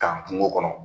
K'an kungo kɔnɔ